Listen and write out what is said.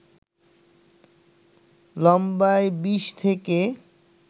লম্বায় ২০ থেকে